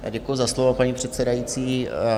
Děkuji za slovo, paní předsedající.